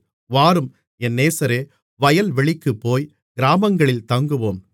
வாரும் என் நேசரே வயல்வெளிக்குப் போய் கிராமங்களில் தங்குவோம்